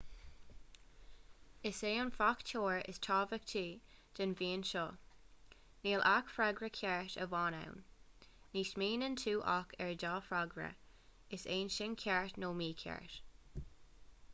is é an fachtóir is tábhachtaí den mheon seo níl ach freagra ceart amháin ann ní smaoiníonn tú ach ar dhá fhreagra is é sin ceart nó mícheart